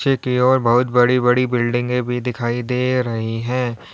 पीछे की ओर बहुत बड़ी बड़ी बिल्डिंगें भी दिखाई दे रही हैं।